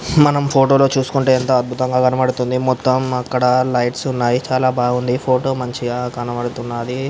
మనం ఫోటో లో చూసుకుంటే ఎంత అద్భుతంగా కనబడుతుంది. మొత్తం అక్కడ లైట్స్ ఉన్నాయి. చాలా బాగుంది ఫోటో మంచిగా కనబడుతున్నది.